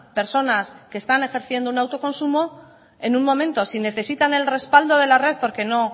personas que están ejerciendo un autoconsumo en un momento si necesitan el respaldo de la red porque no